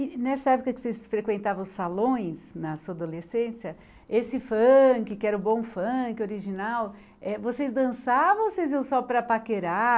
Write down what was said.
E nessa época que vocês frequentavam os salões, na sua adolescência, esse funk, que era o bom funk, original, eh vocês dançavam ou vocês iam só para paquerar?